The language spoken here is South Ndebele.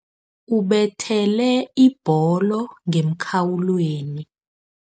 Ubethele ibholo ngemkhawulweni.